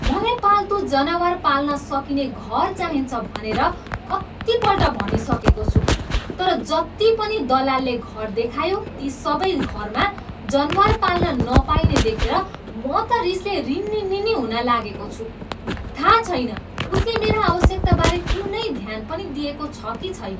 मलाई पाल्तु जनावर पाल्न सकिने घर चाहिन्छ भनेर कतिपल्ट भनिसकेको छु तर जति पनि दलालले घर देखायो ती सबै घरमा जनावर पाल्न नपाइने देखेर म त रिसले रिनिनिनी हुन लागेको छु। थाहा छैन उसले मेरा आवश्यकताबारे कुनै ध्यान पनि दिएको छ कि छैन।